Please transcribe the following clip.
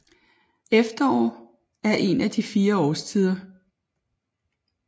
Efterår er en af de fire årstider